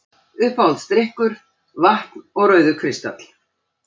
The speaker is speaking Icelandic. Uppáhaldsdrykkur: vatn og rauður kristall